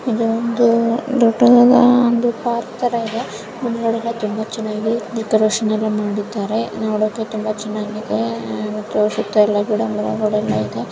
ಇದು ಒಂದು ದೊಡ್ಡದಾದ ಒಂದು ಪಾರ್ಕ್ ತರ ಇದೆ. ಮುಂದ್ಗಡೆಯೆಲ್ಲ ತುಂಬಾ ಚೆನ್ನಾಗಿ ಡೆಕೊರೇಷನ್ ಎಲ್ಲಾ ಮಾಡಿದ್ದಾರೆ ನೋಡೋಕೆ ತುಂಬಾ ಚೆನ್ನಾಗಿ ಇದೆ .